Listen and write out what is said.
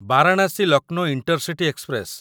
Varanasi Lucknow intercity express